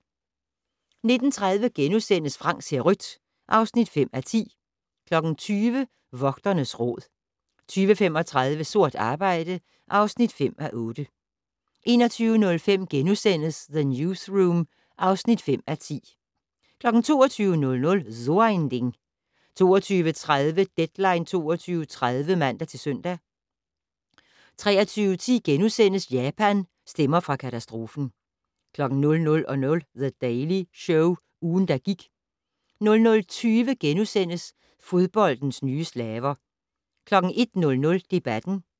19:30: Frank ser rødt (5:10)* 20:00: Vogternes Råd 20:35: Sort arbejde (5:8) 21:05: The Newsroom (5:10)* 22:00: So ein Ding 22:30: Deadline 22.30 (man-søn) 23:10: Japan - stemmer fra katastrofen * 00:00: The Daily Show - ugen, der gik 00:20: Fodboldens nye slaver * 01:00: Debatten